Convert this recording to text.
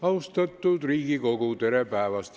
Austatud Riigikogu, tere päevast!